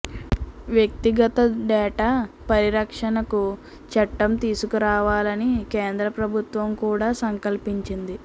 వ్యక్తిగత డేటా పరిరక్షణకు చట్టం తీసుకురావాలని కేంద్ర ప్రభుత్వం కూడా సంకల్పించింది